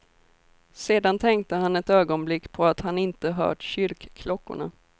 Sedan tänkte han ett ögonblick på att han inte hört kyrkklockorna.